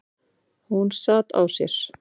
Hún sat á sér.